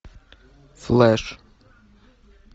флэш